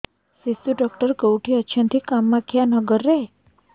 ଶିଶୁ ଡକ୍ଟର କୋଉଠି ଅଛନ୍ତି କାମାକ୍ଷାନଗରରେ